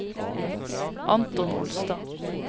Anton Olstad